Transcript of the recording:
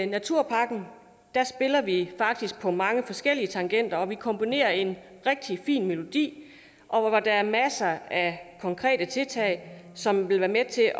naturpakken spiller vi faktisk på mange forskellige tangenter vi komponerer en rigtig fin melodi og der er masser af konkrete tiltag som vil være med til